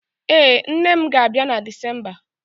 Ee, nne m ga-abịa na Disemba